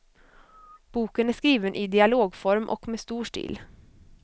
Boken är skriven i dialogform och med stor stil.